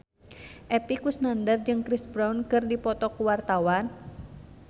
Epy Kusnandar jeung Chris Brown keur dipoto ku wartawan